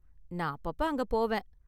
நான் அப்பப்ப அங்க போவேன்.